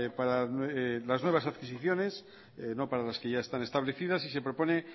para las nuevas adquisiciones no para las que ya están establecidas y se propone